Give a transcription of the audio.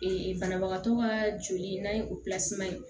banabagatɔ ka joli n'a ye operasiman ye